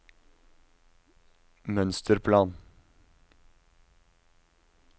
mønsterplan